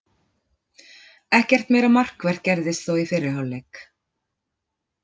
Ekkert meira markvert gerðist þó í fyrri hálfleik.